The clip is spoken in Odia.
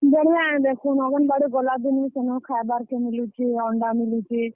ବଢିଆ ଏ ଦେଖୁନ୍ ଅଙ୍ଗେନବାଡି ଗଲା ଦିନୁ ସେନ ଖାଏବାର୍ କେ ମିଲୁଛେ, ଅଣ୍ଡା ମିଲୁଛେ।